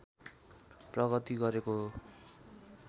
प्रगति गरेको हो